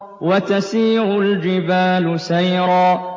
وَتَسِيرُ الْجِبَالُ سَيْرًا